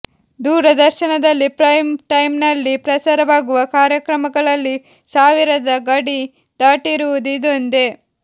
ದೂರದರ್ಶನದಲ್ಲಿ ಪ್ರೈಮ್ ಟೈಮ್ನಲ್ಲಿ ಪ್ರಸಾರವಾಗುವ ಕಾರ್ಯಕ್ರಮಗಳಲ್ಲಿ ಸಾವಿರದ ಗಡಿ ದಾಟಿರುವುದು ಇದೊಂದೆ